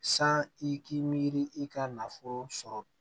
San i k'i miiri i ka nafolo sɔrɔ